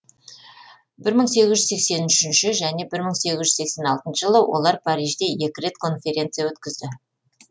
бір мың сегіз жүз сексен үшінші және бір мың сегіз жүз сексен алтыншы жылы олар парижде екі рет конференция өткізді